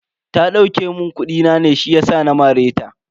Ta dauke mun kudi na ne shiyasa na mare ta.